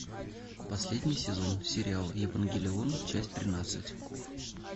последний сезон сериал евангелион часть тринадцать